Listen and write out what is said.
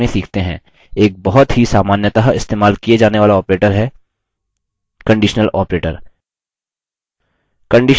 एक बहुत ही सामान्यतः इस्तेमाल किये जाने वाला operator है conditional operator